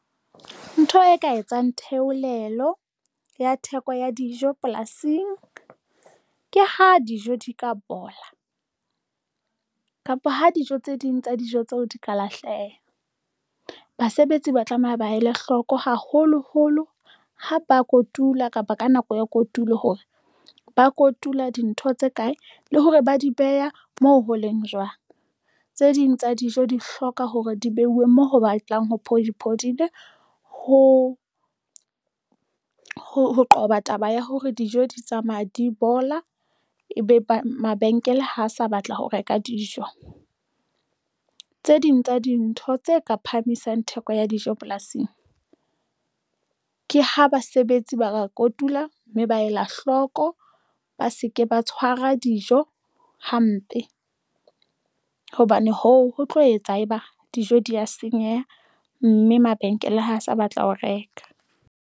Ntho e ka etsang theolelo ya theko ya dijo polasing ke ha dijo di ka bola kapa ha dijo tse ding tsa dijo tseo di ka lahleha. Basebetsi ba tlameha ba ele hloko, haholoholo ha ba kotula kapa ka nako ya kotulo hore ba kotula dintho tse kae le hore ba di beha moo ho leng jwang. Tse ding tsa dijo di hloka hore di beuwe moo ho batlang ho phodi phodile ho qoba taba ya hore dijo di tsamaya di bola, ebe ba mabenkele ho sa batla ho reka dijo tse ding tsa dintho tse ka phahamisang theko ya dijo polasing, ke ha basebetsi ba ka kotula mme ba ela hloko, ba se ke ba tshwara dijo hampe hobane hoo ho tlo etsa eba dijo di ya senyeha mme mabenkele ha a sa batla ho reka.